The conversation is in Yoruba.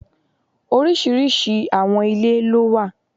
Oríṣiríṣi àwọn ilé lówà.